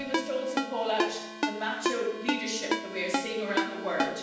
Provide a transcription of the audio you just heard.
And we must also call out the macho leadership that we're seeing around the world.